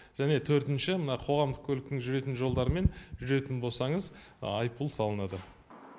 және төртінші мына қоғамдық көліктің жүретін жолдарымен жүретін болсаңыз айыппұл салынады